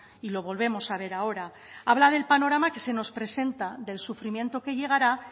y lo volvemos a ver ahora habla del panorama que se nos presenta del sufrimiento que llegará